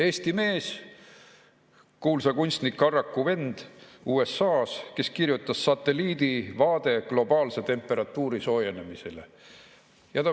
Eesti mees, kuulsa kunstniku Arraku vend USA-s, kes kirjutas "Satelliidi vaade globaalse temperatuuri soojenemisele".